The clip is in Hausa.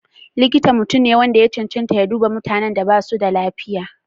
Likita mutum ne wanda ya cancanta ya duba mutanen da basu da lafiya.